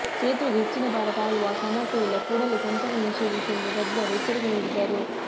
ಸೇತುವೆಗೆ ಹೆಚ್ಚಿನ ಭಾರ ತಾಳುವ ಸಾಮರ್ಥ್ಯವಿಲ್ಲ ಕೂಡಲೇ ಸಂಚಾರ ನಿಷೇಧಿಸಿ ಎಂದು ತಜ್ಞರು ಎಚ್ಚರಿಕೆ ನೀಡಿದ್ದರು